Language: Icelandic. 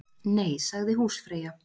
Nei, sagði húsfreyja.